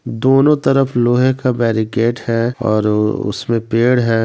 दोनों तरफ लोहे का बैरीगेट है और उसमें पेड़ है।